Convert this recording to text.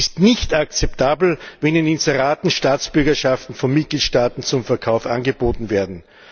Es ist nicht akzeptabel, wenn in Inseraten Staatsbürgerschaften von Mitgliedstaaten zum Verkauf angeboten werden.